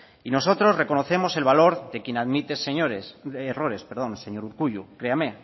y nosotros reconocemos el valor de quien admite errores señor urkullu créame